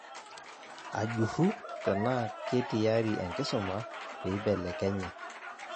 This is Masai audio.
Ajurru tena ketiyari enkisuma peibelekenya